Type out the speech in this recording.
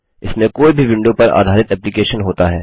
इसमें कोई भी विंडो पर आधारित एप्लीकेशन होता है